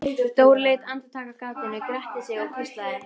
Dóri leit andartak af gatinu, gretti sig og hvíslaði